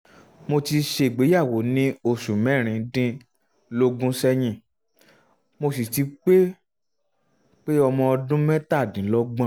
mo ti ṣègbéyàwó ní oṣù mẹ́rin dín lógún sẹ́yìn mo sì ti pé pé ọmọ ọdún mẹ́tàdínlọ́gbọ̀n